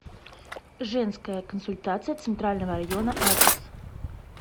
женская консультация центрального района адрес